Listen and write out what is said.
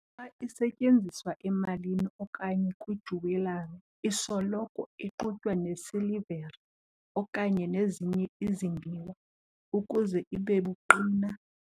Xa isetyenziswa emalini okanye kwijewelry, isoloko ixutywa nesilivere okanye nezinye izimbiwa ukuze ibe buqina.